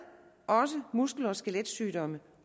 muskel og skeletsygdomme